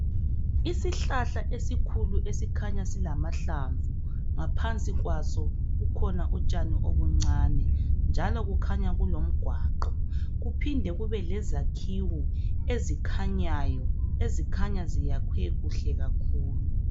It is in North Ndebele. isihlahla esikhulu esikhanya silamahlamvu ngaphansi kwaso kukhona utshani obuncane njalo kukhanya kulomgwaqo kuphinde kube lezakhiwo ezikhanyayo ezikhanya ziyakhwe kuhle kakhulu